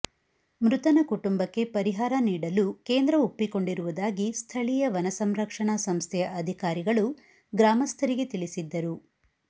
ಮೃತನ ಕುಟುಂಬಕ್ಕೆ ಪರಿಹಾರ ನೀಡಲು ಕೇಂದ್ರ ಒಪ್ಪಿಕೊಂಡಿರುವುದಾಗಿ ಸ್ಥಳೀಯ ವನ ಸಂರಕ್ಷಣಾ ಸಂಸ್ಥೆಯ ಅಧಿಕಾರಿಗಳು ಗ್ರಾಮಸ್ಥರಿಗೆ ತಿಳಿಸಿದ್ದರು